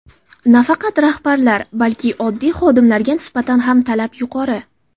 Nafaqat rahbarlar, balki oddiy xodimlarga nisbatan ham talab yuqori.